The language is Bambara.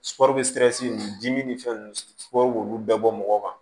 dimi ni fɛn nunnu k'olu bɛɛ bɔ mɔgɔ kan